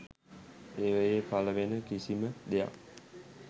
ඒවයෙ පලවෙන කිසිම දෙයක්